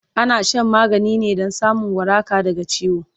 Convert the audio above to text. ana Shan magani ne Dan samun waraka daga ciwo